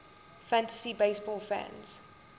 fantasy baseball fans